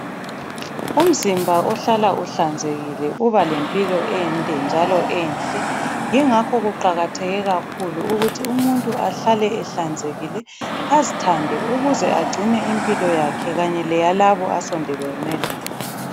Umzimba ohlala kuhlanzekile uba lempilo ende njalo enhle. Yingakho kuqakatheke kakhulu ukuthi umuntu ahlale ehlanzekile azithande ukuze agcine impilo yakhe kanye lalabo asongane labo.